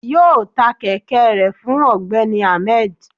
yọọ tá kẹkẹ rẹ fún ọgbẹni ahmed